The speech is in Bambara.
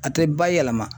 A tɛ ba yɛlɛma